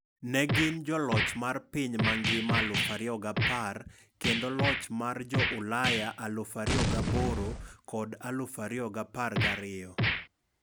ne gin joloch mar piny mangima 2010, kendo loch mar jo Ulaya 2008 kod 2012